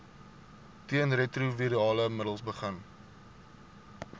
teenretrovirale middels begin